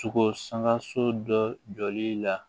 Sogo sanka so dɔ jɔli la